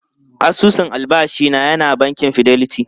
Asusun albashi na yana bankin Fidelity.